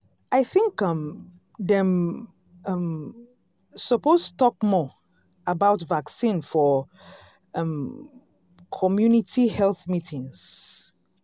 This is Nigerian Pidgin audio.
i think um dem um suppose talk more about vaccine for um community health meetings.